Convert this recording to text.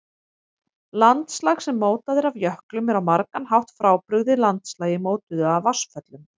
Landslag sem mótað er af jöklum er á margan hátt frábrugðið landslagi mótuðu af vatnsföllum.